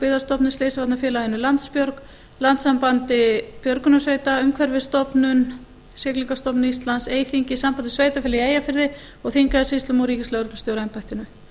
byggðastofnun slysavarnafélaginu landsbjörg landssambandi björgunarsveita umhverfisstofnun siglingastofnun íslands eyþingi sambandi sveitarfélaga í eyjafirði og þingeyjarsýslum og ríkislögreglustjóraembættinu